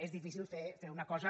és difícil fer una cosa